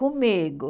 Comigo.